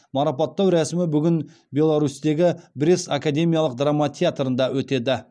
марапаттау рәсімі бүгін беларусьтегі брест академиялық драма театрында өтеді